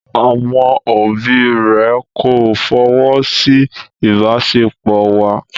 Àwọn òbí rẹ̀ kò fọwọ́ sí ìbáṣepọ̀ wa.